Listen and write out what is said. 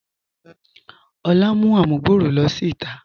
Olà mú àmùgbọ̀rọ̀ ló sí ìtà.